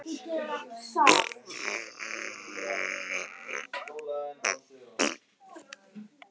Jú, ég hafði tekið eftir þeim.